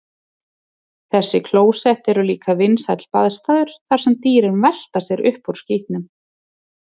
Þessi klósett eru líka vinsæll baðstaður þar sem dýrin velta sér upp úr skítnum.